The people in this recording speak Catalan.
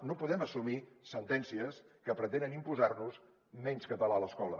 no podem assumir sentències que pretenen imposar nos menys català a l’escola